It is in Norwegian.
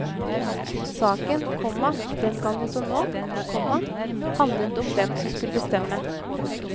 Saken, komma den gang som nå, komma handlet om hvem som skulle bestemme. punktum